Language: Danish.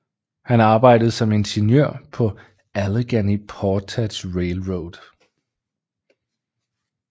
Han arbejdede som ingeniør på Allegheny Portage Railroad